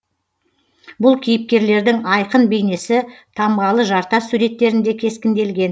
бұл кейіпкерлердің айқын бейнесі тамғалы жартас суреттерінде кескінделген